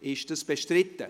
Ist dies bestritten?